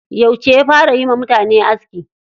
Yauce ya fara yiwa mutane aski?